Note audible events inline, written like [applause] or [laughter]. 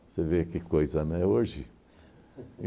Você vê que coisa, né, hoje [laughs]